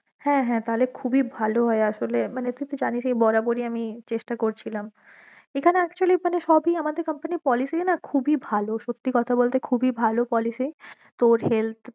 হ্যা হ্যা তাহলে খুবই ভালো হয়ে আসলে মানে তুই তো জানিসই বরাবরই আমি চেষ্টা করছিলাম, এখানে actually মানে সবই আমাদের company র policy না খুবই ভালো সত্যি কথা বলতে খুবই ভালো policy তোর health policy